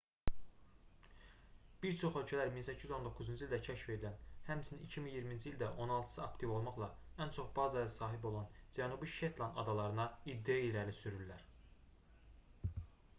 bir çox ölkələr 1819-cu ildə kəşf edilən həmçinin 2020-ci ildə on altısı aktiv olmaqla ən çox bazaya sahib olan cənubi şetland adalarına iddia irəli sürürlər